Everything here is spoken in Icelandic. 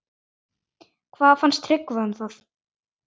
Hvað fannst Tryggva um það?